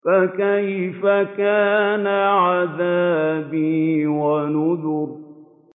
فَكَيْفَ كَانَ عَذَابِي وَنُذُرِ